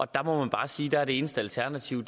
der må man bare sige at det eneste alternativ